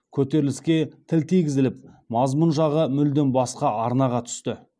көтеріліске тіл тигізіліп мазмұн жағы мүлдем басқа арнаға түсті